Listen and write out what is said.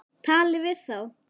Talið við þá.